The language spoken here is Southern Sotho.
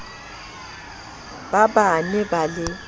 ba ba ne ba le